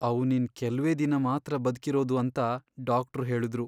ಅವ್ನು ಇನ್ ಕೆಲ್ವೇ ದಿನ ಮಾತ್ರ ಬದ್ಕಿರೋದು ಅಂತ ಡಾಕ್ಟ್ರು ಹೇಳುದ್ರು.